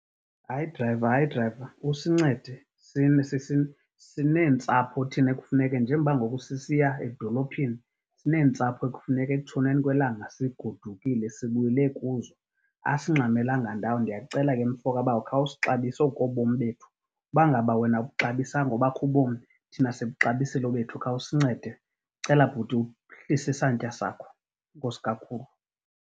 Hayi drayiva, hayi drayiva. Usincede. Sineentsapho thina ekufuneke, njengoba ngoku sisiya edolophini, sineentsapho ekufuneka ekutshoneni kwelanga sigodukile sibuyele kuzo. Asingxamelanga ndawo. Ndiyacela ke mfo kabawo, khawusixabise, oku kobom bethu. Uba ngaba wena awubuxabisanga obakho ubomi, thina sibuxabisile obethu. Khawusincede. Cela bhuti uhlise isantya sakho. Enkosi kakhulu.